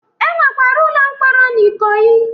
E nwekwara ụlọ mkpọrọ n'Ikoyi.